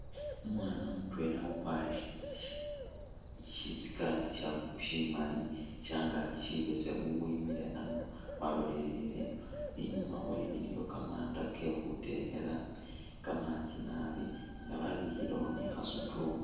Umwana mutwela ukwarire shi sikaati shimaali shangaaki shibeseemu wemiile ano walolelele ino, inyuma wewe iliyo kamanda kekhutekheela kamanji naabi nga wabikhilewo ne kha stool